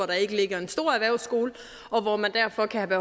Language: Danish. der ikke ligger en stor erhvervsskole og hvor man derfor kan have